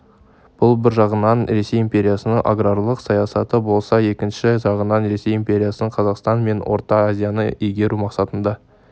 бұл бір жағынан ресей империясының аграрлық саясаты болса екінші жағынан ресей империясының қазақстан мен орта азияны игеру мақсатында